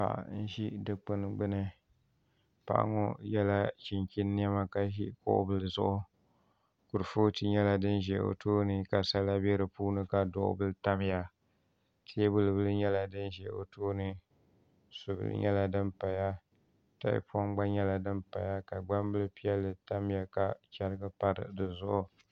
Paɣa n ʒi dikpuni gbuni Paɣa ŋo yɛla chinchin niɛma ka ʒi kuɣu bili zuɣu kuripooti nyɛla din ʒʋ o tooni ka sala bɛ di puuni ka duɣu bili tamya teebuli bili nyɛla " din ʒɛ o tooni subili gba nyɛla din paya tahapoŋ gba nyɛla din paya ka gbambili tamya ka chɛrigi pa di zuɣu